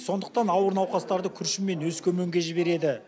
сондықтан ауыр науқастарды күршім мен өскеменге жібереді